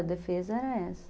A defesa era essa.